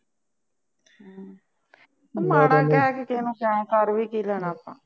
ਉਹ ਮਾੜ੍ਹਾ ਕਹਿ ਕੇ ਕਿਸੇ ਨੂੰ ਕਿਉਂ ਕਰ ਵੀ ਕੀ ਲੈਣਾ ਆਪਾਂ